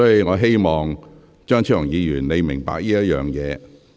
我希望張超雄議員明白這一點。